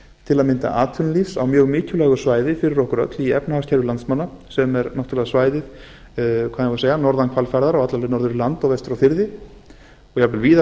til að mynda atvinnulífs á mjög mikilvægu svæði fyrir okkur öll í efnahagskerfi landsmanna sem er náttúrlega svæðið hvað eigum við að segja norðan hvalfjarðar og alla leið norður í land og vestur á